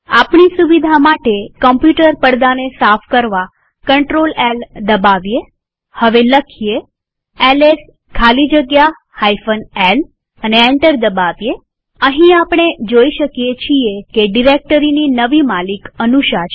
આપણી સુવિધા માટે કમ્પ્યુટર પડદાને સાફ કરવા CtrlL દબાવીએહવે લખીએ એલએસ ખાલી જગ્યા lએન્ટર દબાવીએઅહીં આપણે જોઈ શકીએ છીએ કે ડિરેક્ટરીની નવી માલિક અનુષા છે